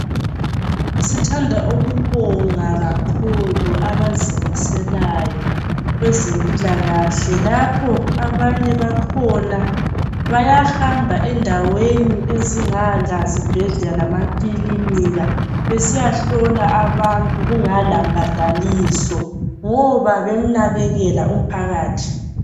Sithanda ukubonga kakhulu abazimiselayo kwezempilakahle lapho abanye bakhona bayahamba endaweni ezingala zibhedlela lamakilinika besiyahlola abantu kungela mbadaliso ngoba bemnakelela umphakathi.